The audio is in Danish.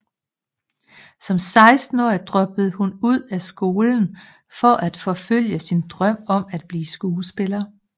Som 16 årig droppede hun ud af skolen for at forfølge sin drøm om at blive skuespiller